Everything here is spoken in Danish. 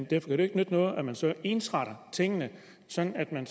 det jo ikke nytte noget at man så ensretter tingene sådan at man